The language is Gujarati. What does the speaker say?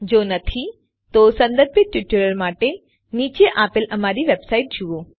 જો નથી તો સંબંધિત ટ્યુટોરીયલ માટે નીચે આપેલ અમારી વેબસાઇટ જુઓ